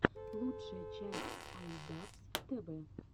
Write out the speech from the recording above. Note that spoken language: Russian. лучшая часть ай дабз тэ вэ